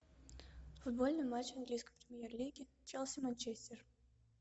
футбольный матч английской премьер лиги челси манчестер